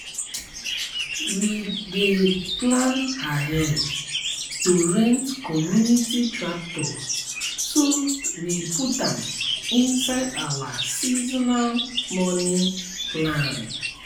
we dey plan ahead to rent community tractor so we put am inside our seasonal money plan.